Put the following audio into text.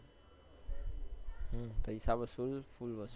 હમ પૈસા વસુલ ફુલ વસુલ